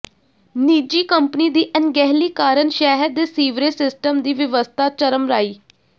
ਨਿੱਜੀ ਕੰਪਨੀ ਦੀ ਅਣਗਹਿਲੀ ਕਾਰਨ ਸ਼ਹਿਰ ਦੇ ਸੀਵਰੇਜ ਸਿਸਟਮ ਦੀ ਵਿਵਸਥਾ ਚਰਮਰਾਈ